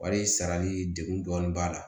Wari sarali degun dɔɔnin b'a la